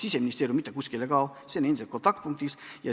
Siseministeerium mitte kuskile ei kao, see on endiselt kontaktpunktiks.